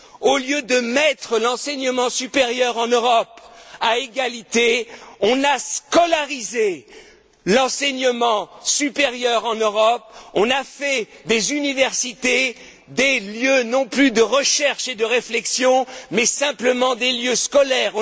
Au lieu de mettre l'enseignement supérieur en Europe à égalité, on a scolarisé l'enseignement supérieur en Europe, on a fait des universités des lieux non plus de recherche et de réflexion, mais simplement des lieux scolaires.